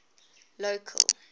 local